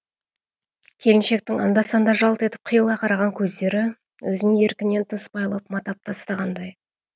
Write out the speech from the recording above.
келіншектің анда санда жалт етіп қиыла қараған көздері өзін еркінен тыс байлап матап тастағандай